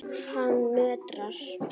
Hann nötrar.